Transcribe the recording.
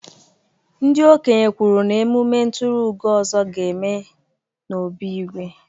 Ndị okenye kwuru na emume nturuugo Ozo ga-eme n'obí Igwe.